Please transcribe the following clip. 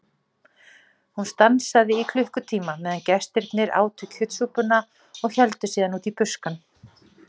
Hún stansaði í klukkutíma meðan gestirnir átu kjötsúpuna og héldu síðan út í buskann.